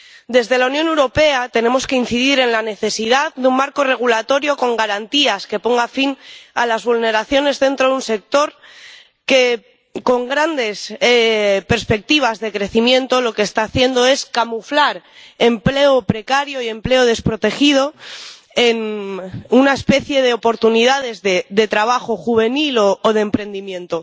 Desde la Unión Europea tenemos que incidir en la necesidad de un marco regulatorio con garantías que ponga fin a las vulneraciones dentro de un sector que, con grandes perspectivas de crecimiento, lo que está haciendo es camuflar empleo precario y empleo desprotegido en una especie de oportunidades de trabajo juvenil o de emprendimiento.